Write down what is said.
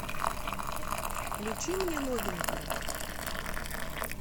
включи мне новенькое